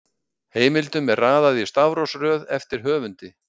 Heimildum er raðað í stafrófsröð eftir höfundi.